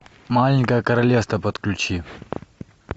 маленькое королевство подключи